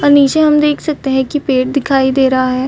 अनिशा हम देख सकते है की पेड़ दिखाई दे रहा है।